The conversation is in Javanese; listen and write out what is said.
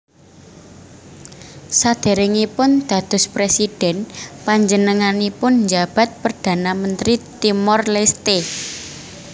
Sadèrèngipun dados prèsidhén panjenenganipun njabat Perdana Mentri Timor Leste